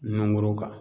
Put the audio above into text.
Nunkoro kan